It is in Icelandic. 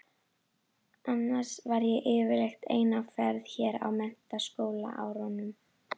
Annars var ég yfirleitt ein á ferð hér á menntaskólaárunum.